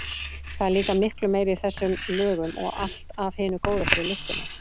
Það er líka miklu meira í þessum lögum og allt af hinu góða fyrir listina.